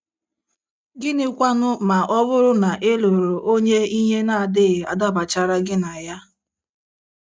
Gịnịkwanụ ma ọ bụrụ na ị lụrụ onye ihe na - adịghị adabachara gị na ya?